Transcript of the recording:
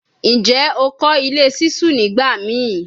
Njẹ o kọ ile ṣiṣu nigbamii?